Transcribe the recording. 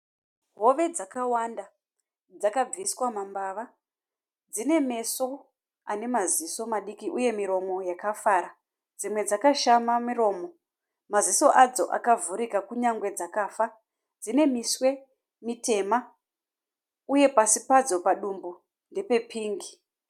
Hove dzakawanda, dzakabviswa mambava. Dzine meso anemaziso madiki uye miromo yakafara. Dzimwe dzakashama miromo, maziso adzo akavhurika kunyangwe dzakafa. Dzine miswe mitema uye pasi padzo padumbu ndepe pingi.